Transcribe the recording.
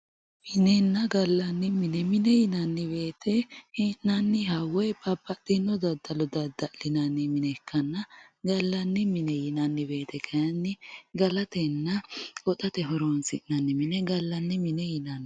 minenna gallanni mine mine yinanni woyiitte he'nayiiha woyi babbaxinno daddalo dada'linanni mine ikkanna gallanni mine yinanni woyiite kaayiinni galatenna goxate horonsi'nanni mine gallanni mine yinanni.